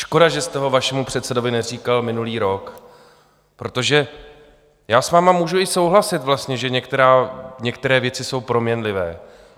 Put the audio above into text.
Škoda že jste ho vašemu předsedovi neříkal minulý rok, protože já s vámi můžu i souhlasit vlastně, že některé věci jsou proměnlivé.